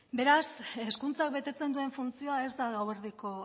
beraz hezkuntza betetzen duen funtzioa ez da gauerdiko